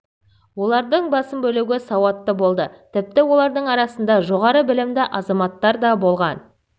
олардың басым бөлігі сауатты болды тіпті олардың арасында жоғары білімді азаматтар да болған